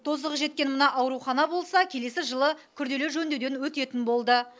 тозығы жеткен мына аурухана болса келесі жылы күрделі жөндеуден өтетін болды